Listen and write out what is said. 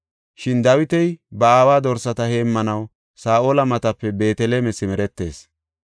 Shin Dawiti ba aawa dorsata heemmanaw Saa7ola matape Beeteleme simeretees.